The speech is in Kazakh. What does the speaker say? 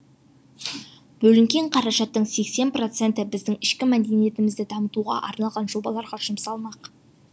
бөлінген қаражаттың сексен проценті біздің ішкі мәдениетімізді дамытуға арналған жобаларға жұмсалмақ